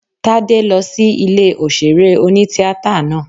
Tádé lọ sí ilé òṣèré oní-tíatà náà